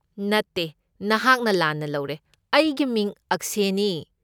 ꯅꯠꯇꯦ, ꯅꯍꯥꯛꯅ ꯂꯥꯟꯅ ꯂꯧꯔꯦ, ꯑꯩꯒꯤ ꯃꯤꯡ ꯑꯛꯁꯦꯅꯤ꯫